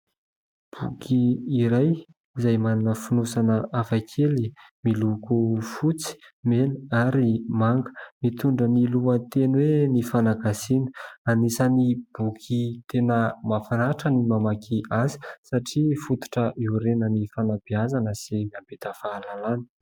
Boky iray izay manana fonosana hafakely miloko fotsy, mena ary manga. Mitondra ny lohateny hoe "Ny fanagasiana". Anisan'ny boky tena mmahafinaritra ny mamaky azy satria fototra iorenan'ny fanabeazana sy mampita fahalalana.